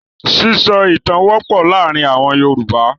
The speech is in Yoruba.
Sísọ ìtan wọ́pọ̀ láàárin àwọn Yorùbá.